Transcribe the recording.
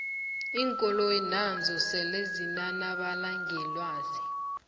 iinkoloyi nazo sele zinanabala ngelwazi